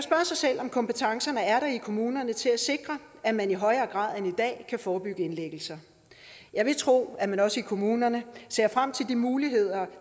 sig selv om kompetencerne er der i kommunerne til at sikre at man i højere grad end i dag kan forebygge indlæggelser jeg vil tro at man også i kommunerne ser frem til de muligheder